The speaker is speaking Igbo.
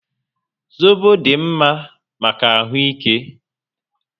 Zobo dị mma maka ahụ ike